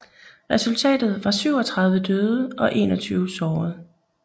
Resultatet var 37 døde og 21 såret